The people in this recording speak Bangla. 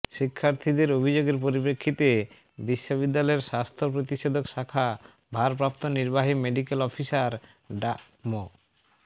শিক্ষার্থীদের অভিযোগের পরিপ্রেক্ষিতে বিশ্ববিদ্যালয়ের স্বাস্থ্য প্রতিষেধক শাখা ভারপ্রাপ্ত নির্বাহী মেডিক্যাল অফিসার ডাঃ মো